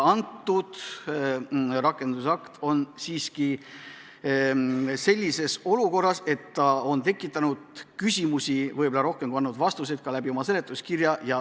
Kõnealune rakendusakt ongi tekitanud rohkem küsimusi, kui seletuskiri on suutnud vastuseid anda.